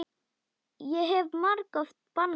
Ég hef margoft bannað þér.